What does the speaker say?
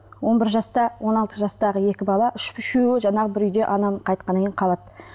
он бір жаста он алты жастағы екі бала үшеуі жаңағы бір үйде анам қайтқаннан кейін қалады